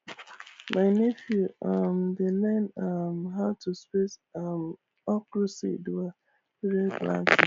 my nephew um dey learn um how to space um okra seed well during planting